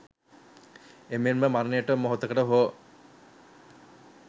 එමෙන්ම මරණයට මොහොතකට හෝ